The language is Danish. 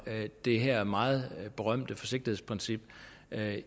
det her meget berømte forsigtighedsprincip